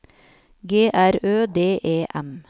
G R Ø D E M